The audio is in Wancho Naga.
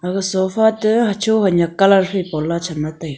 aga sofa te hacho hanyak colour phai po la cham la taiga.